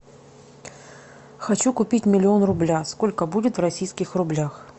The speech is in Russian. хочу купить миллион рубля сколько будет в российских рублях